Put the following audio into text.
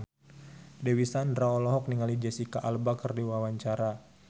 Dewi Sandra olohok ningali Jesicca Alba keur diwawancara